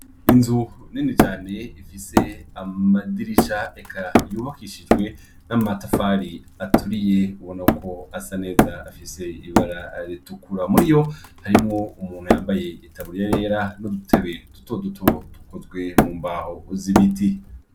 Inzu nini cane ifise amadirisha eka yubakishijwe n'amatafari aturiye ubona ko asa neza afise ibara ritukura muri yo harimwo umuntu yambaye itaburiya yera n'udutebe duto duto tukozwe mu mbaho z'ibiti.